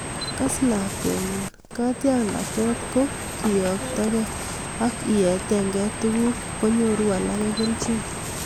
Kas lakwenyu, katiaknatet ko keyoktokei ak ietekei tuguk konyoru alake kelchin